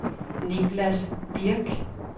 Niklas Birch